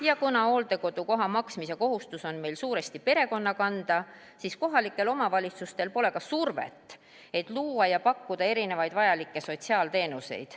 Ja kuna hooldekodukoha eest maksmise kohustus on meil suuresti perekonna kanda, siis kohalikel omavalitsustel pole ka survet, et luua ja pakkuda erinevaid vajalikke sotsiaalteenuseid.